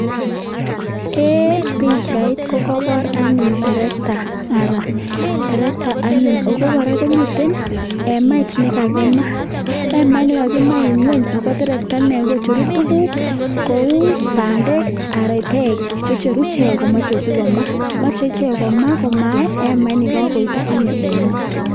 een pichait kokabor anyun tractor ara tractor anyun ako kora komite hemait nekakimaa, hemait nekakimaa ing' ng'wuny ako tractorne kocheru tuguuk kouu bandek ara peek checheru icheek komache sikomaa mache ichek komae hemait nekakoito anyun en ng'wuny